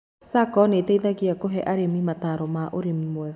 SACCO nĩteithagia kũhe arĩmi motaro ma ũrĩmi mwega